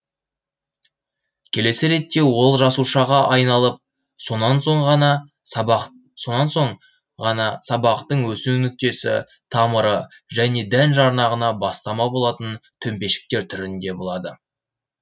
келесі ретте ол жасушаға айналып сонан соң ғана сабақтың өсу нүктесі тамыры және дән жарнағына бастама болатын төмпешіктер түрінде болады